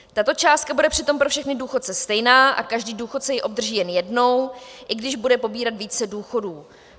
Tato částka bude přitom pro všechny důchodce stejná a každý důchodce ji obdrží jen jednou, i když bude pobírat více důchodů.